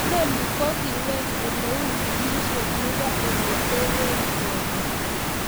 Inoni ko kiwech oleu ng'emisiet nebo ole tere boolik